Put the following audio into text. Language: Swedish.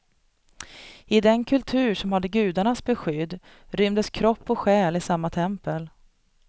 I den kultur som hade gudarnas beskydd rymdes kropp och själ i samma tempel.